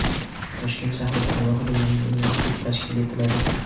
Toshkent shahrida alohida yangi universitet tashkil etiladi.